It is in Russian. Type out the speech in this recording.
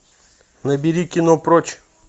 набери кино прочь